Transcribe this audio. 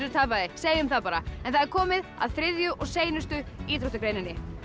tapaði segjum það bara það er komið að þriðju og seinustu íþróttagreinni